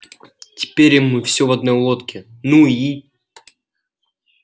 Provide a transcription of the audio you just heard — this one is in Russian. теперь и мы все в одной лодке ну и